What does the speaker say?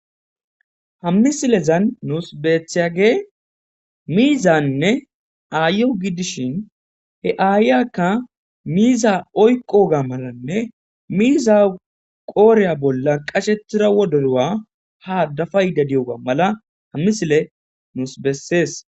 ha misilezan nuus beethyage miizanne aayo gidishhin he7aayyakka miiza oyqoga malanne miiza qooreya bolla qashettira wodoywa ha dafa yda diyoga mala hammisile nuus bessees